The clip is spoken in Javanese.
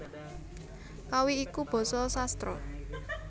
Kawi iku basa sastra